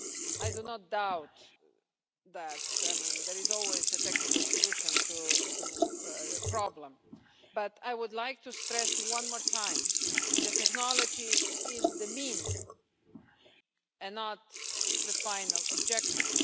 I do not doubt that there is always a technical solution to a problem, but I would like to stress one more time that technology is the means and not the final objective.